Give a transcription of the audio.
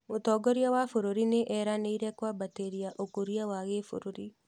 Mũtongoria wa bũrũri nĩ eranĩire kwambatĩria ũkũria wa gĩbũrũri